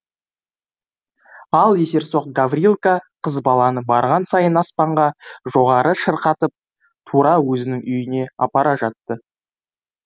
ал есерсоқ гаврилка қыз баланы барған сайын аспанға жоғары шырқатып тура өзінің үйіне апара жатты